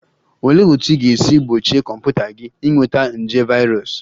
Olee otú ị ga-esi gbochie kọmputa gị ịnweta nje virus?